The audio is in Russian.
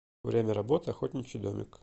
время работы охотничий домик